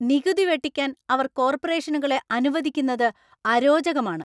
നികുതി വെട്ടിക്കാൻ അവർ കോർപ്പറേഷനുകളെ അനുവദിക്കുന്നത് അരോചകമാണ്.